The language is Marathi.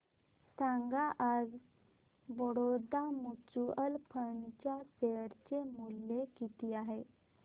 सांगा आज बडोदा म्यूचुअल फंड च्या शेअर चे मूल्य किती आहे